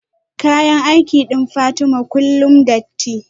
kayan aiki din Fatima kullum datti